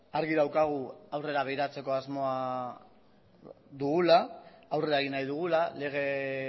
argi daukagu aurrera begiratzeko asmoa dugula aurrera egin nahi dugula lege